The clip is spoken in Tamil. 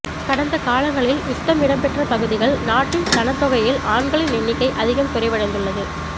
கடந்த காலங்களில் யுத்தம் இடம்பெற்ற பகுதிகளில் நாட்டின் சனத்தொகையில் ஆண்களின் எண்ணிக்கை அதிகம் குறைவடைந்துள்ளது